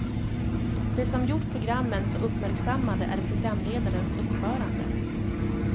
Det som gjort programmen så uppmärksammade är programledarens uppförande.